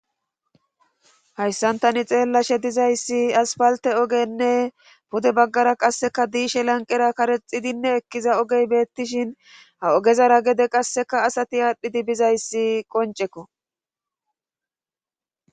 Hayssantani xeellashe dizayssi asfalte ogenne pude baggara qasseka diishe lanqera karexidinne ekkiza ogey beettishin ha ogezara gede qasseka asati aadhdhidi bizayssi qoncekko.